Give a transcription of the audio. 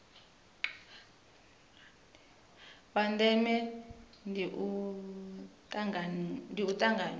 la ndeme ndi u tanganywa